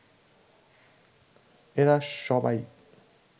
এরা সবাই